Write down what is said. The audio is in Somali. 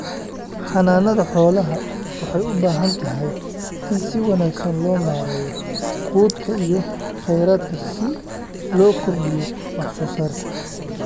Xanaanada xoolaha waxay u baahantahay in si wanaagsan loo maareeyo quudka iyo kheyraadka si loo kordhiyo wax soo saarka.